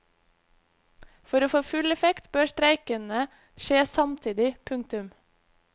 For å få full effekt bør streikene skje samtidig. punktum